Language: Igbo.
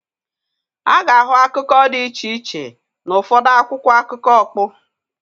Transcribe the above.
A ga-ahụ akụkọ dị iche iche n'ụfọdụ akwụkwọ akụkọ ọkpụ.